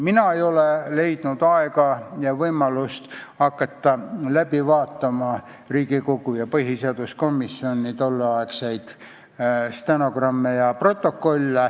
Mina ei ole leidnud aega ega võimalust hakata läbi vaatama Riigikogu ja põhiseaduskomisjoni tolleaegseid stenogramme ja protokolle.